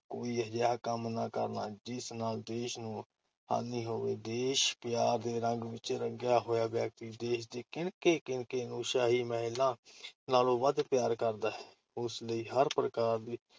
ਕੋਈ ਅਜਿਹਾ ਕੰਮ ਨਾ ਕਰਨਾ, ਜਿਸ ਨਾਲ ਦੇਸ਼ ਨੂੰ ਹਾਨੀ ਹੋਵੇ। ਦੇਸ਼ ਪਿਆਰ ਦੇ ਰੰਗ ਵਿੱਚ ਰੰਗਿਆ ਹੋਇਆ ਵਿਅਕਤੀ ਦੇਸ਼ ਦੇ ਕਿਣਕੇ-ਕਿਣਕੇ ਨੂੰ ਸ਼ਾਹੀ ਮਹੱਲਾਂ ਨਾਲੋਂ ਵੱਧ ਪਿਆਰ ਕਰਦਾ ਹੈ। ਉਸ ਲਈ ਹਰ ਪ੍ਰਕਾਰ ਦੀ